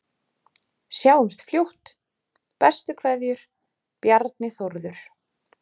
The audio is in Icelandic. Sjáumst fljótt, bestu kveðjur: Bjarni Þórður